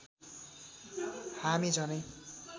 हामी झनै